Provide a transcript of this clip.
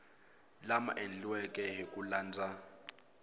lama endliweke hi ku landza